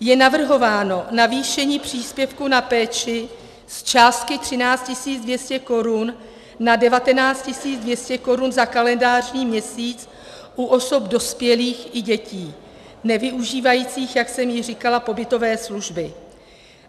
Je navrhováno navýšení příspěvku na péči z částky 13 200 korun na 19 200 korun za kalendářní měsíc u osob dospělých i dětí nevyužívajících, jak jsem již říkala, pobytové služby.